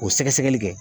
O sɛgɛsɛgɛli kɛ